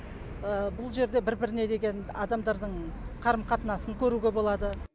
бұл жерде бір біріне деген адамдардың қарым қатынасын көруге болады